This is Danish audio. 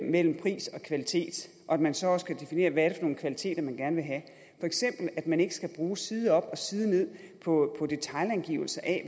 mellem pris og kvalitet og at man så også kan definere hvad det er nogle kvaliteter man gerne vil have for eksempel at man ikke skal bruge side op og side ned på detailangivelser af